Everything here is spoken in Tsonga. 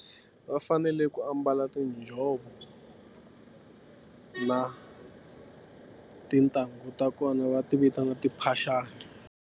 Va fanele ku ambala tinjhovo na tintangu ta kona va ti vitana timphaxani.